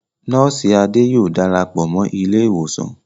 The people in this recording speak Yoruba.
Nọ́ọ̀sì Ade yóò darapọ̀ mọ́ ilé ìwòsàn